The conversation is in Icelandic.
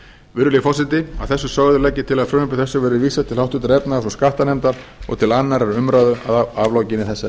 virðulegi forseti að þessu sögðu legg ég til að frumvarpi þessu verði vísað til háttvirtrar efnahags og skattanefndar og til annarrar umræðu að lokinni þessari